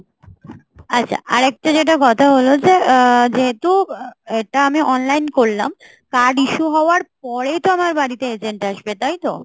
আচ্ছা, আরেকটা যেটা কথা হল যে আহ যেহেতু এটা আমি online করলাম card issue হওয়ার পরে তো আমার বাড়িতে agent আসবে, তাই তো?